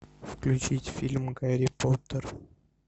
включить фильм гарри поттер